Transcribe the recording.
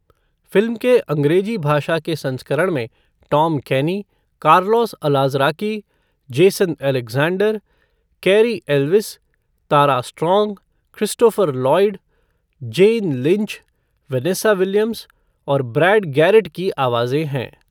Film के अंग्रेज़ी भाषा के संस्करण में Tom Kenny, Carlos Alazraki, Jason Alexander, Cary Elwes, Tara Strong, Christopher Lloyd, Jane Lynch, Vanessa Williams और ब्रैड गैरेट की आवाजें हैं।